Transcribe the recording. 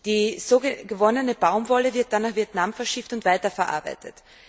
Die so gewonnene Baumwolle wird dann nach Vietnam verschifft und weiterverarbeitet.